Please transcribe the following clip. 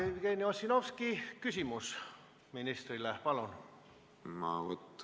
Jevgeni Ossinovski, küsimus ministrile, palun!